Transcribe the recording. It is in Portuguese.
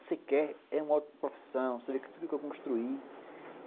você quer, é uma ótima profissão, você tem que construir.